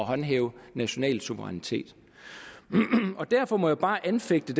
håndhæve national suverænitet derfor må jeg bare anfægte